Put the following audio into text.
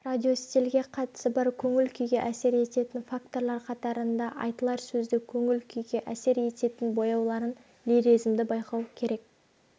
радиостильге қатысы бар көңіл-күйге әсер ететін факторлар қатарында айтылар сөзді көңіл-күйге әсер ететін бояуларын лиризмді байқау керек